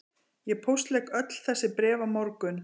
Ég póstlegg öll þessi bréf á morgun